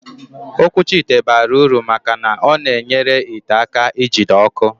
Okwuchi ite bara uru maka na ọ na-enyere ite aka ijite ọkụ